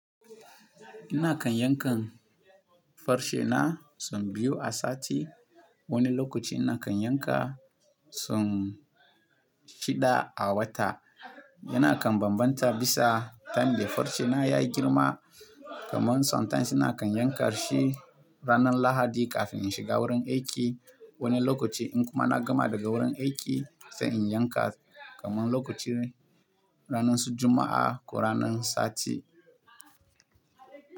Ina kan yankan farse na sun biyu a sati. Wani lokaci ina kan yanka son shida a wata. Ina kan bambanta bisa tayim de farse na ya yi girma. Kaman sometimes ina kan yanka shi ranar Lahadi kafin in shiga wurin aiki. Wani lokaci in kuma na gama daga wurin aiki, sai in yanka. Kaman lokaci ranan su Juma'a ko ranar sati.